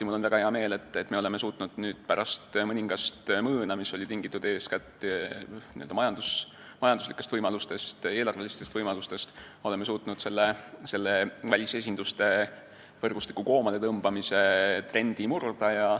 Mul on väga hea meel, et me oleme suutnud pärast mõningast mõõna, mis oli tingitud eeskätt majanduslikest, eelarvelistest võimalustest, välisesinduste võrgustiku koomaletõmbamise trendi murda.